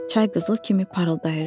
Çay qızıl kimi parıldayırdı.